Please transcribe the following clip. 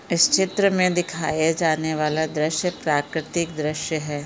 इस चित्र मे दिखाये जाने वाला दृश्य प्राकृतिक दृश्य है।